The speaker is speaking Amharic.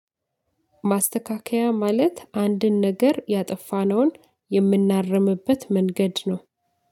ማስተካከያ ማለት አንድን ነገር ያጠፋነውን የምናርምበት መንገድ ነው።